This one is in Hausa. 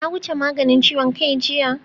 Na wuce maganin ciwon kai jiya